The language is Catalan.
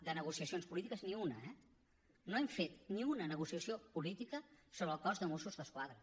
de negociacions polítiques ni una eh no hem fet ni una negociació política sobre el cos de mossos d’esquadra